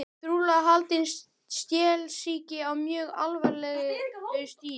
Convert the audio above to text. Trúlega haldinn stelsýki á mjög alvarlegu stigi.